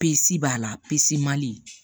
Pese b'a la mali